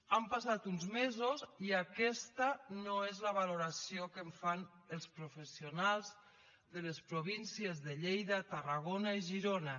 han passat uns mesos i aquesta no és la valoració que en fan els professionals de les províncies de lleida tarragona i girona